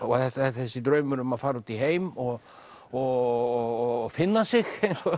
þessi draumur um að fara út í heim og og finna sig